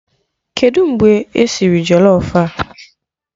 Kedụ mgbe esiri jọlọf a?